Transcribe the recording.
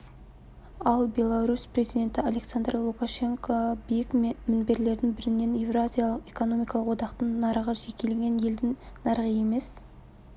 ал беларусь президенті александр лукашенко биік мінберлердің бірінен еуразиялық экономикалық одақтың нарығы жекелеген елдің нарығы емес